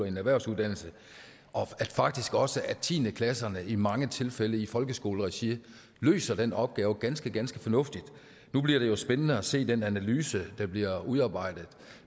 en erhvervsuddannelse og at faktisk også tiende klasserne i mange tilfælde i folkeskoleregi løser den opgave ganske ganske fornuftigt nu bliver det jo spændende at se den analyse der bliver udarbejdet